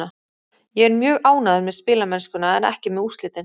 Ég er mjög ánægður með spilamennskuna en ekki með úrslitin.